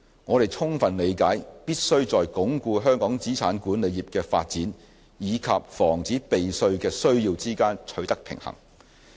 我們充分理解到，必須在鞏固香港資產管理業的發展與防止避稅的需要之間取得平衡。